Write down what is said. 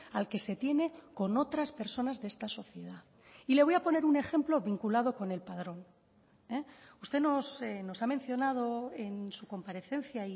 al que se tiene con otras personas de esta sociedad y le voy a poner un ejemplo vinculado con el padrón usted nos ha mencionado en su comparecencia